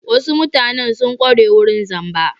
Wasu mutanen sun ƙware wurin zamba.